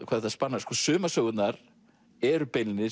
hvað þetta spannar sko sumar sögurnar eru beinlínis